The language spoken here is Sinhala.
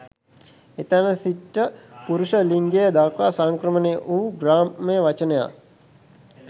එතැන සිට පුරුෂ ලිංගය දක්වා සංක්‍රමණය වූ ග්‍රාම්‍ය වචනයක්